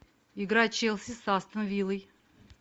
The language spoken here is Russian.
игра челси с астон виллой